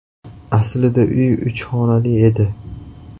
Aslida uy uch xonali edi.